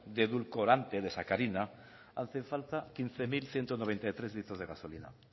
de edulcorante de sacarina hacen falta quince mil ciento noventa y tres litros de gasolina